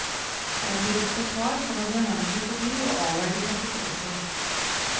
En bibliotekar kommer behendig forbi og avverger katastrofen.